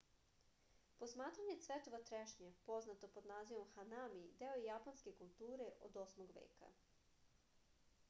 posmatranje cvetova trešnje poznato pod nazivom hanami deo je japanske kulture od 8. veka